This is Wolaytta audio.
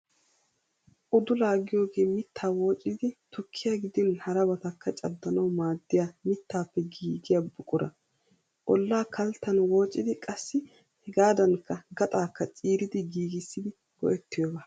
Udulaa giyoogee mittaa woocidi tukkiyaa gidin harabatakka caddanawu maadiyaa mittaappe giigiyaa buqura. Ollaa kalttan woocidi qassi hegaadankka gaxaakka ciiridi giigissidi go"ettiyooba.